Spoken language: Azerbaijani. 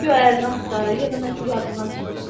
Güya ərini axtarır, ya da nəsə yadından çıxıb.